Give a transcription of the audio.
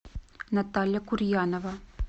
наталья курьянова